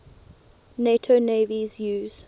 nato navies use